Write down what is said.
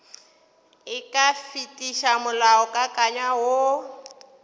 e ka fetiša molaokakanywa woo